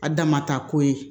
A damata ko ye